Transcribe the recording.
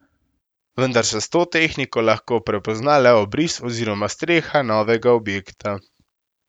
Vendar se s to tehniko lahko prepozna le obris oziroma streha novega objekta.